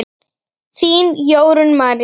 Þín, Jórunn María.